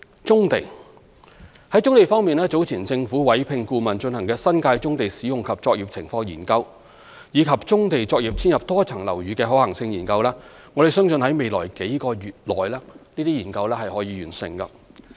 在棕地方面，早前政府委聘顧問進行"新界棕地使用及作業現況研究"及"棕地作業遷入多層樓宇的可行性研究"，我們相信這些研究可在未來數個月內完成。